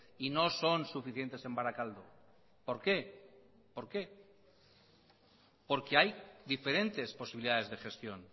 y no son suficientes en barakaldo por qué por qué porque hay diferentes posibilidades de gestión